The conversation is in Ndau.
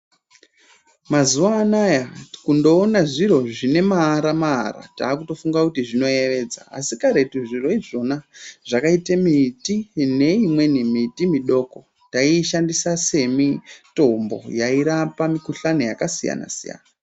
Mazuwanayaa kundoona zviro zvine maara-maara takutofunga kuti zvinoyevedza, asi karethu zviro izvona zvakaita miti neimweni miti midoko tayiyishandisa semitombo yayi rapa Mikuhlani yakasiyana-siyana.